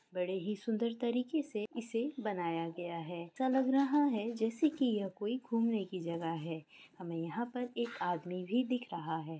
बड़े ही सुंदर तरीकेसे इसे बनाया गया है। ऐसा लग रहा है जैसे की कोई घूमने की जगह है। हमे यहाँ पर एक आदमी भी दिख रहा है।